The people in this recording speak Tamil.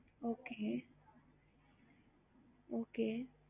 மும்பய் சென்னை oder பண்ணி வாங்குவோம்